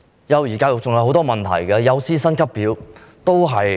幼兒教育還有許多問題，例如幼師薪級表的問題。